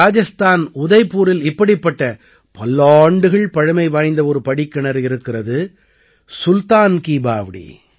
ராஜஸ்தானின் உதய்பூரில் இப்படிப்பட்ட பல்லாண்டுகள் பழமை வாய்ந்த ஒரு படிக்கிணறு இருக்கிறது சுல்தான் கீ பாவ்டீ